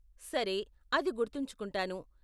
సరే, అది గుర్తుంచుకుంటాను.